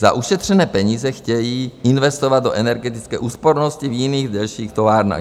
Za ušetřené peníze chtějí investovat do energetické úspornosti v jiných, dalších továrnách.